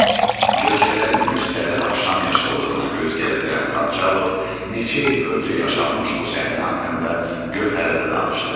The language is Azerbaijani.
Cökələrin qüssəli axşam yaşıllığına göz gəzdirən Xançalov neçə il öncə yaşanmış bu səhnə haqqında Gövhərə də danışdı.